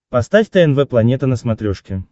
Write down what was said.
поставь тнв планета на смотрешке